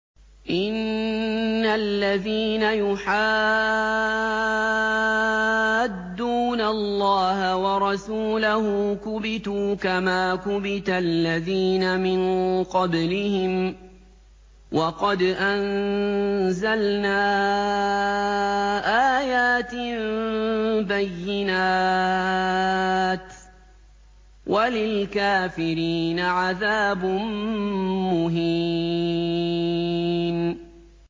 إِنَّ الَّذِينَ يُحَادُّونَ اللَّهَ وَرَسُولَهُ كُبِتُوا كَمَا كُبِتَ الَّذِينَ مِن قَبْلِهِمْ ۚ وَقَدْ أَنزَلْنَا آيَاتٍ بَيِّنَاتٍ ۚ وَلِلْكَافِرِينَ عَذَابٌ مُّهِينٌ